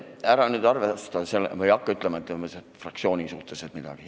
Ära nüüd arva või hakka ütlema fraktsiooni kohta midagi.